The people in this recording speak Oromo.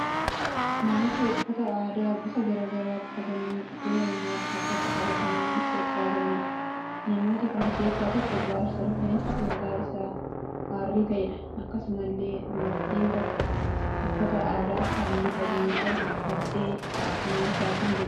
Namoota uffata aadaa gosa garaa garaa uffatanii, ulee immoo harkatti qabatanii sirbaa jiraniidha. Namoota kana keessaa tokko jaarsa rifeensi mataa isaa arrii ta'eedha. Akkasumallee dubartiin tokko uffata aadaa halluu adii qabu uffattee cina isaanii jirti.